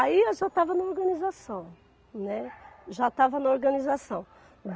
Aí eu já estava na organização, né, já estava na organização.